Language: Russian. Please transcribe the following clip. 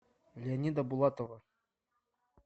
леонида булатова